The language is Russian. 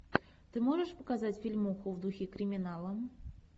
ты можешь показать фильмуху в духе криминала